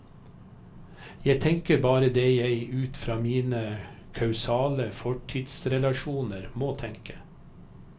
Jeg tenker bare det jeg ut fra mine kausale fortidsrelasjoner må tenke.